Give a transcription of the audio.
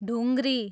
ढुङ्ग्री